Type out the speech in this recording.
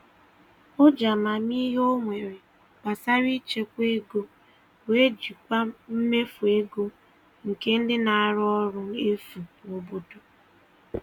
O ji amamihe o nwere gbasara ịchekwa ego wee jikwaa mmefu ego nke ndị na-arụ ọrụ efu n'obodo.